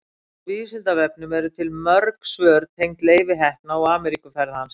á vísindavefnum eru til mörg svör tengd leifi heppna og ameríkuferð hans